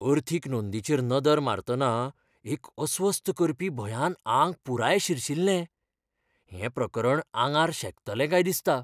अर्थीक नोंदींचेर नदर मारतना एक अस्वस्थ करपी भंयान आंग पुराय शिरशिरलें, हें प्रकरण आंगार शेकतलें काय दिसता.